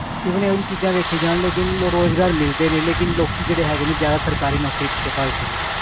Even ਇਹੋ ਜਿਹੀਆਂ ਚੀਜ਼ਾਂ ਵੇਖੀਆਂ ਜਾਣ ਲੇਕਿੰਨ ਰੁਜ਼ਗਾਰ ਮਿਲਦੇ ਨੇ, ਲੇਕਿੰਨ ਲੋਕੀ ਜਿਹੜੇ ਹੈਗੇ ਨੇ ਜ਼ਿਆਦਾ ਸਰਕਾਰੀ ਨੌਕਰੀ ਪਿੱਛੇ ਭੱਜਦੇ ਨੇ,